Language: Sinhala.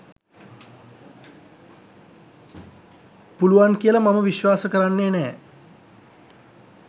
පුළුවන් කියල මම විශ්වාස කරන්නේ නෑ